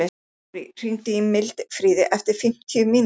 Marí, hringdu í Mildfríði eftir fimmtíu mínútur.